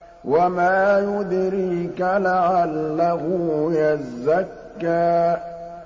وَمَا يُدْرِيكَ لَعَلَّهُ يَزَّكَّىٰ